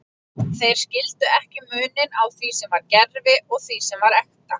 Þeir skildu ekki muninn á því sem var gervi og því sem var ekta.